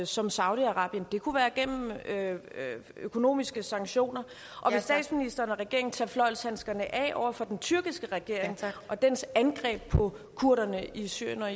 som saudi arabien det kunne være gennem økonomiske sanktioner og vil statsministeren og regeringen tage fløjlshandskerne af over for den tyrkiske regering og dens angreb på kurderne i syrien og